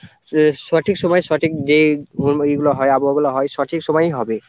সঠিক সময়ে সঠিক যে এগুলো হয় আবহাওয়াগুলো হয় সঠিক সময়েই হবে।